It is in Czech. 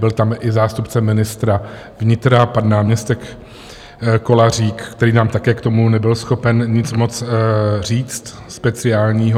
Byl tam i zástupce ministra vnitra pan náměstek Kolařík, který nám také k tomu nebyl schopen nic moc říct speciálního.